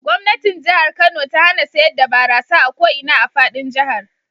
Gwamnatin Jihar Kano ta hana sayar da barasa a ko ina a fadin jihar.